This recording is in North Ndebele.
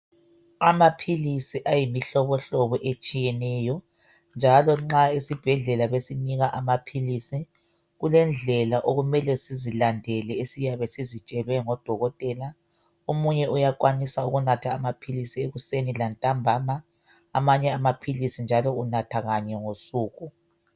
Amaphilisi ayimihlobohlobo etshiyeneyo njalo nxa esibhedlela besinika amaphilisi kulendlela okumele sizilandele esiyabe sizitshelwe ngodokotela omunye uyakwanisa ukunatha amaphilisi ekuseni lantambama amanye amaphilisi njalo unatha kanye ngosuku.